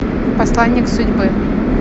посланник судьбы